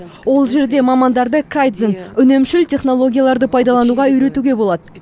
ол жерде мамандарды кайдзен үнемшіл технологияларды пайдалануға үйретуге болады